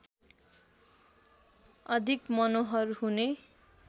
अधिक मनोहर हुने